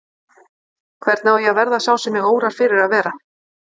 Hvernig á ég að verða sá sem mig órar fyrir að vera?